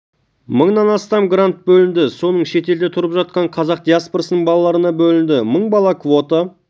мыңнан астам грант бөлінді соның шетелде тұрып жатқан қазақ диаспорасының балаларына бөлінді мың бала квота